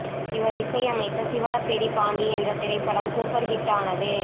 இவர் இசையமைத்த சீவலப்பேரி பாண்டி என்ற திரைப்படம் சூப்பர் ஹிட் ஆனது